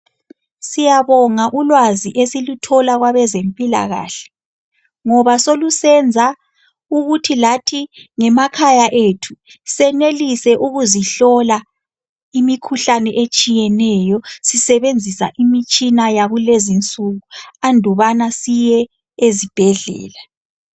Siyabonga ulwazi esiluthola kwabezempilakahle ngoba selusenza ukuthi lathi ngemakhaya ethu senelise ukuzihlola imikhuhlane etshiyeneyo sisebenzisa imitshina yakulezinsuku andubana siyezibhedlela.